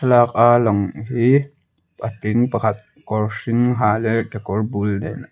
thlalak a lang hi patling pakhat kawr hring ha leh kekawr bul nen --